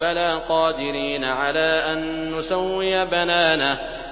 بَلَىٰ قَادِرِينَ عَلَىٰ أَن نُّسَوِّيَ بَنَانَهُ